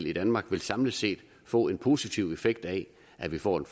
i danmark samlet set få en positiv effekt af at vi får en